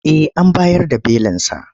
Eh an bayar da belinsa.